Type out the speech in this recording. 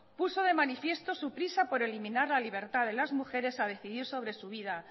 puso de manifiesto su prisa por eliminar la libertad de las mujeres a decidir sobre su vida